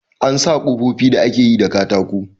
An sa kofofi da ake yi da katako.